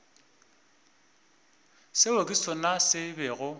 seo ke sona se bego